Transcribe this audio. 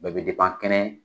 Bɛɛ bɛ kɛnɛ.